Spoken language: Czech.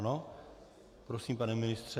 Ano, prosím, pane ministře.